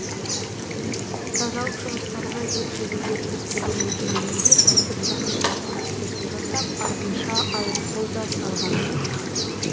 тазалық жұмыстарына дер кезінде кіріспеген мекемелерге тәртіп сақшылары ескерту жасап артынша айыппұл да салған